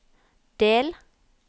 del